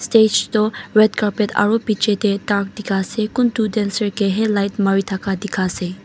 stage tu red carpet aro bechi tey dark colour dekhai ase kun toh dancer ke hi light mari dakha dekai ase.